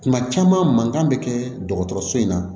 Kuma caman mankan bɛ kɛ dɔgɔtɔrɔso in na